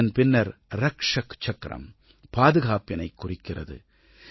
இதன் பின்னர் ரக்ஷக் சக்கரம் பாதுகாப்பினைக் குறிக்கிறது